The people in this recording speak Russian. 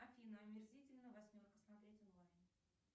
афина омерзительная восьмерка смотреть онлайн